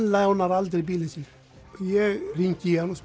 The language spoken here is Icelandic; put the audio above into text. lánar aldrei bílinn sinn ég hringi í hann og